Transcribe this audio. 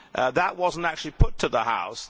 That was not actually put to the House.